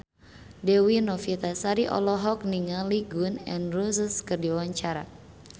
Dewi Novitasari olohok ningali Gun N Roses keur diwawancara